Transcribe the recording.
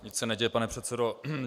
Nic se neděje, pane předsedo.